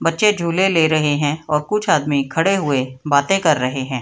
बच्चे झूले ले रहे है और कुछ आदमी खड़े हुए बाते कर रहे है।